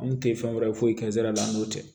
An kun tɛ fɛn wɛrɛ foyi kɛnsɛra n'o tɛ